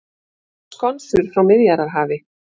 Skonsur frá Miðjarðarhafi